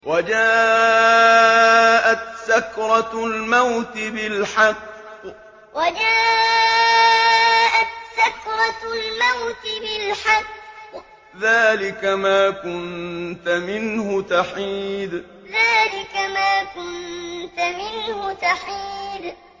وَجَاءَتْ سَكْرَةُ الْمَوْتِ بِالْحَقِّ ۖ ذَٰلِكَ مَا كُنتَ مِنْهُ تَحِيدُ وَجَاءَتْ سَكْرَةُ الْمَوْتِ بِالْحَقِّ ۖ ذَٰلِكَ مَا كُنتَ مِنْهُ تَحِيدُ